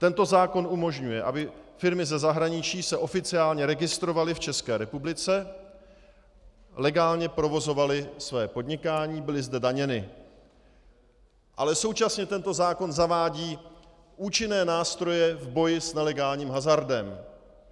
Tento zákon umožňuje, aby firmy ze zahraničí se oficiálně registrovaly v České republice, legálně provozovaly své podnikání, byly zde daněny, ale současně tento zákon zavádí účinné nástroje k boji s nelegálním hazardem.